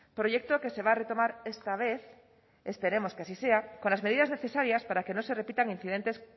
proyecto que se va a retomar esta vez esperemos que así sea con las medidas necesarias para que no se repitan incidentes